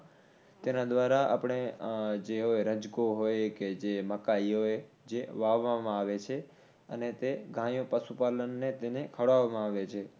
તેના દ્વારા આપણે જે હોય રજકો હોય કે મકાઇ હોય જે વાવવામાં આવે છે અને તે ગાયો પશુ પાલનને તેને ખવડાવમાં આવે છે